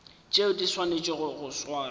tšeo di swanetšego go swarwa